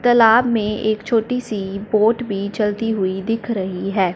तालाब में एक छोटी सी बोट भी चलती हुई दिख रही हैं।